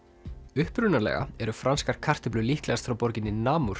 upprunalega eru franskar kartöflur líklegast frá borginni